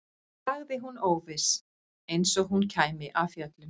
sagði hún óviss, eins og hún kæmi af fjöllum.